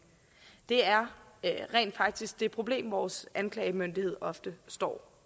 det er rent faktisk det problem vores anklagemyndighed ofte står